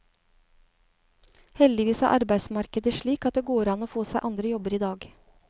Heldigvis er arbeidsmarkedet slik at det går an å få seg andre jobber i dag.